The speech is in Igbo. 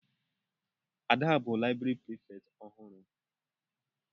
Ada bụ laịbrị Prịfèkt ọhụrụ.